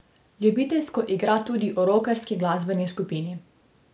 Ljubiteljsko igra tudi v rokerski glasbeni skupini.